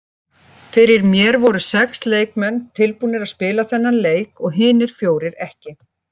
Fyrir mér voru sex leikmenn tilbúnir að spila þennan leik og hinir fjórir ekki.